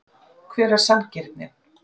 Hver er sanngirnin?